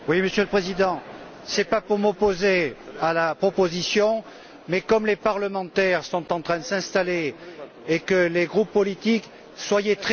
Monsieur le Président, je ne souhaite pas m'opposer à la proposition, mais comme les parlementaires sont en train de s'installer et que les groupes politiques... Soyez